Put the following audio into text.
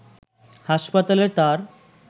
হাসপাতালে তার